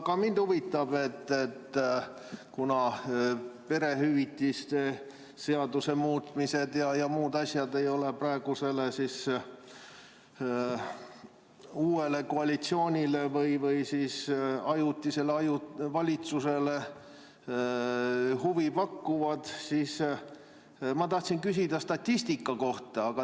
Ka mind huvitab, et kuna perehüvitiste seaduse muutmine ja muud asjad ei ole praegusele uuele koalitsioonile või ajutisele valitsusele huvipakkuvad, siis ma tahtsin küsida statistika kohta.